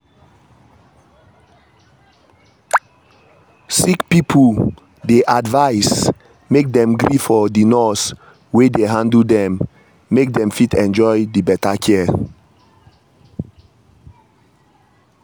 sick pipo dey advise make dem gree for the nurse wey dey handle dem make dem fit enjoy the better care.